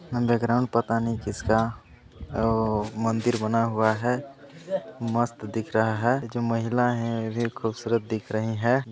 Background पता नहीं किसका ओ मंदिर बना हुआ है मस्त दिख रहा है जो महिला है वे खुबसूरत दिख रही है।